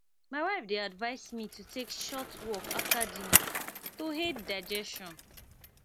my wife dey advise me to take short walk after dinner to aid digestion